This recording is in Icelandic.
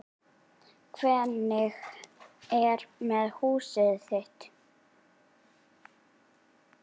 Hvernig er með húsið þitt